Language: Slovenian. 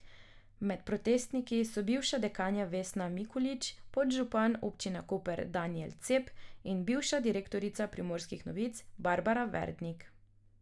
Med protestniki so bivša dekanja Vesna Mikulič, podžupan občine Koper Danijel Cep in bivša direktorica Primorskih novic Barbara Verdnik.